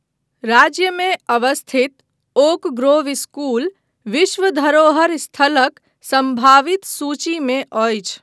राज्यमे अवस्थित Oak Grove school विश्व धरोहर स्थलक सम्भावित सूचीमे अछि।